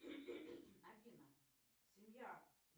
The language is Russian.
афина семья